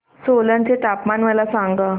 सोलन चे तापमान मला सांगा